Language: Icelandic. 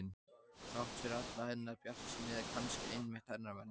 Þrátt fyrir alla hennar bjartsýni eða kannski einmitt hennar vegna.